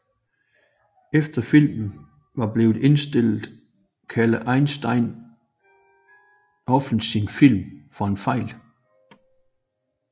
Efter filmen var blevet indstillet kaldte Eisenstein offentligt sin film for en fejl